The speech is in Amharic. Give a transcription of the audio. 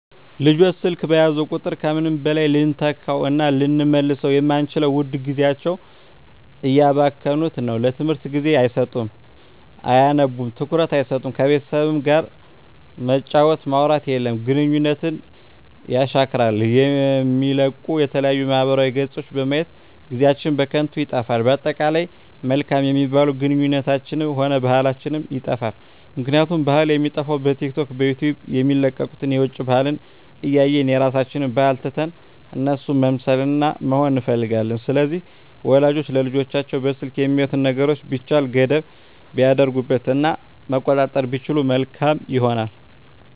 ልጆች ስልክ በያዙ ቁጥር ከምንም በላይ ልንተካዉእና ልንመልሰዉ የማንችለዉን ዉድ ጊዜያቸዉን እያባከኑት ነዉ ለትምህርት ጊዜ አይሰጡም አያነቡም ትኩረት አይሰጡም ከቤተሰብ ጋርም መጫወት ማዉራት የለም ግንኙነትን የሻክራል የሚለቀቁ የተለያዩ ማህበራዊ ገፆችን በማየት ጊዜአችን በከንቱ ይጠፋል በአጠቃላይ መልካም የሚባሉ ግንኙነታችንንም ሆነ ባህላችንንም ይጠፋል ምክንያቱም ባህል የሚጠፋዉ በቲክቶክ በዩቲዩብ የሚለቀቁትን የዉጭ ባህልን እያየን የራሳችንን ባህል ትተን እነሱን መምሰልና መሆን እንፈልጋለን ስለዚህ ወላጆች ለልጆቻቸዉ በስልክ የሚያዩትን ነገሮች ቢቻል ገደብ ቢያደርጉበት እና መቆጣጠር ቢችሉ መልካም ይሆናል